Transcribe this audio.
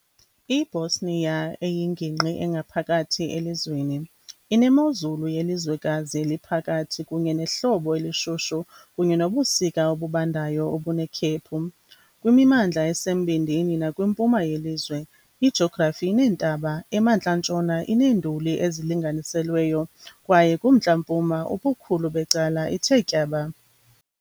I-Bosnia, eyingingqi engaphakathi elizweni, inemozulu yelizwekazi eliphakathi kunye nehlobo elishushu kunye nobusika obubandayo, obunekhephu. Kwimimandla esembindini nakwimpuma yelizwe, ijografi ineentaba, emantla-ntshona ineenduli ezilinganiselweyo, kwaye kumntla-mpuma ubukhulu becala ithe tyaba.